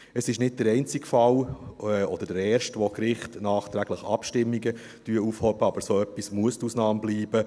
Es ist nicht der einzige Fall oder der erste, bei dem die Gerichte nachträglich Abstimmungen aufheben, aber so etwas muss die Ausnahme bleiben.